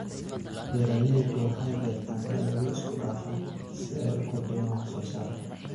Beeraleydu waxay beertaan dalagyo isku dhafan si ay u kordhiyaan wax soo saarka.